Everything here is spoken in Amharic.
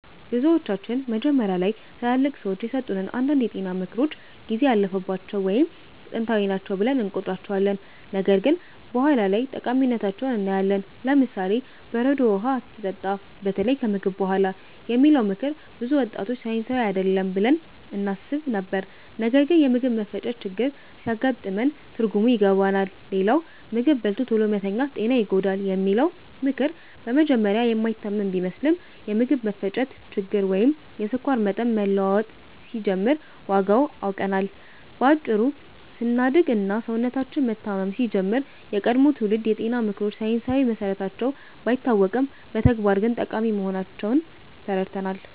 ብዙዎቻችን መጀመሪያ ላይ ትላልቅ ሰዎች የሰጡትን አንዳንድ የጤና ምክሮች ጊዜ ያለፈባቸው ወይም ጥንታዊ ናቸው ብለን እንቆጥራቸዋለን፣ ነገር ግን በኋላ ላይ ጠቃሚነታቸውን እናያለን። ለምሳሌ፦ "በረዶ ውሃ አትጠጣ፣ በተለይ ከምግብ በኋላ" የሚለው ምክር ብዙ ወጣቶች ሳይንሳዊ አይደለም ብለን እናስብ ነበር፣ ነገር ግን የምግብ መፈጨት ችግር ሲያጋጥመን ትርጉሙን ይገባናል። ሌላው "ምግብ በልቶ ቶሎ መተኛት ጤናን ይጎዳል" የሚለው ምክር በመጀመሪያ የማይታመን ቢመስልም፣ የምግብ መፈጨት ችግር ወይም የስኳር መጠን መለዋወጥ ሲጀምር ዋጋውን አውቀናል። በአጭሩ ስናድግ እና ሰውነታችን መታመም ሲጀምር፣ የቀድሞ ትውልድ የጤና ምክሮች ሳይንሳዊ መሰረታቸው ባይታወቅም በተግባር ግን ጠቃሚ መሆናቸውን ተረድተናል።